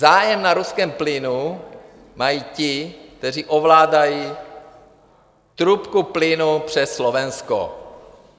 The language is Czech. Zájem na ruském plynu mají ti, kteří ovládají trubku plynu přes Slovensko.